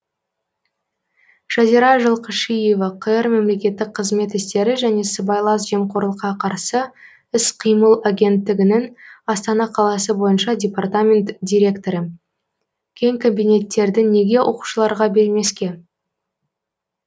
жазира жылқышиева қр мемлекеттік қызмет істері және сыбайлас жемқорлыққа қарсы іс қимыл агенттігінің астана қаласы бойынша департамент директоры кең кабинеттерді неге оқушыларға бермеске